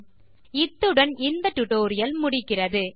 இத்துடன் இந்த Tux typing tutorial முடிகிறது